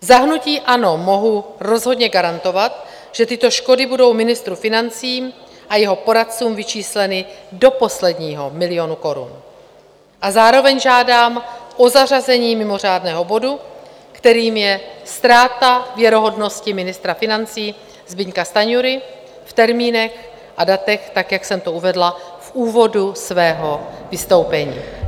Za hnutí ANO mohu rozhodně garantovat, že tyto škody budou ministru financí a jeho poradcům vyčísleny do posledního milionu korun, a zároveň žádám o zařazení mimořádného bodu, kterým je Ztráta věrohodnosti ministra financí Zbyňka Stanjury, v termínech a datech tak, jak jsem to uvedla v úvodu svého vystoupení.